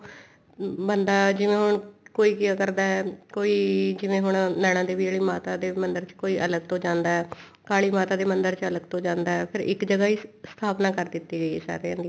ਬੰਦਾ ਜਿਵੇਂ ਹੁਣ ਕੋਈ ਕਿਆ ਕਰਦਾ ਕੋਈ ਜਿਵੇਂ ਹੁਣ ਨੈਣਾ ਦੇਵੀ ਆਲੇ ਮਾਤਾ ਦੇ ਮੰਦਿਰ ਵਿੱਚ ਕੋਈ ਅਲੱਗ ਤੋਂ ਜਾਂਦਾ ਹੈ ਕਾਲੀ ਮਾਤਾ ਦੇ ਮੰਦਿਰ ਵਿੱਚ ਕੋਈ ਅਲੱਗ ਤੋਂ ਜਾਂਦਾ ਹੈ ਇੱਕ ਜਗ੍ਹਾ ਹੀ ਸਥਾਪਨਾ ਕਰ ਦਿੱਤੀ ਗਈ ਹੈ ਸਾਰਿਆਂ ਦੀ